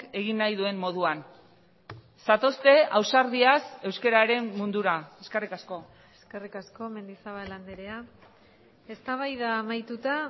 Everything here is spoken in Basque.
egin nahi duen moduan zatozte ausardiaz euskararen mundura eskerrik asko eskerrik asko mendizabal andrea eztabaida amaituta